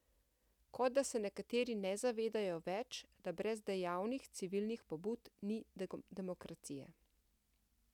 Kot da se nekateri ne zavedajo več, da brez dejavnih civilnih pobud ni demokracije.